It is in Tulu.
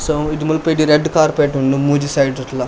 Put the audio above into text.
ಸೋ ಮುಜಿ ಮುಲ್ಪ ಇಡಿ ರಡ್ಡ್ ಕಾರ್ಪೆಟ್ ಉಂಡು ಮೂಜಿ ಸೈಡ್ ಡ್ಲ.